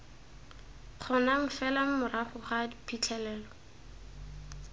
kgonang fela morago ga phitlhelelo